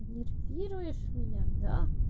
нервируешь меня да